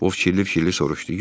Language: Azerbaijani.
O fikirli-fikirli soruşdu.